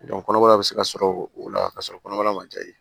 kɔnɔbara bɛ se ka sɔrɔ o la ka sɔrɔ kɔnɔbara ma jaabi